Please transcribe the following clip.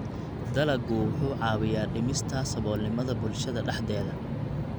Dalaggu wuxuu caawiyaa dhimista saboolnimada bulshada dhexdeeda.